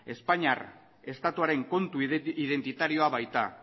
espainiar estatuaren kontu identitarioa baita